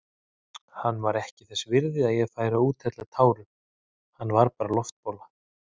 Hann var ekki þess virði að ég færi að úthella tárum, hann var bara loftbóla.